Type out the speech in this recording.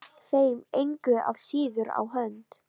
Gekk þeim engu að síður á hönd.